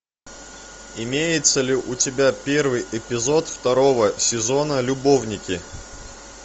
имеется ли у тебя первый эпизод второго сезона любовники